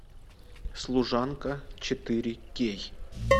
служанка четыре кей